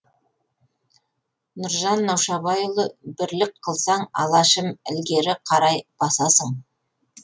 нұржан наушабайұлы бірлік қылсаң алашым ілгері қарай басасың